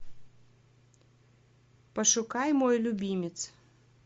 пошукай мой любимец